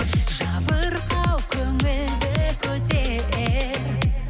жабырқау көңілді көтер